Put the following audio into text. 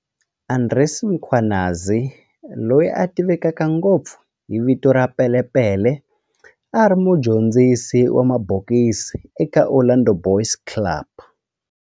Andries Mkhwanazi, loyi a tiveka ngopfu hi vito ra Pele Pele, a ri mudyondzisi wa mabokisi eka Orlando Boys Club.